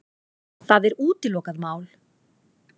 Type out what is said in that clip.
Það er útilokað mál.